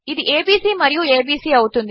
ఇది ఏబీసీ మరియు ఏబీసీ అవుతుంది